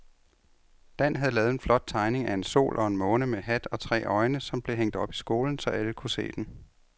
Dan havde lavet en flot tegning af en sol og en måne med hat og tre øjne, som blev hængt op i skolen, så alle kunne se den.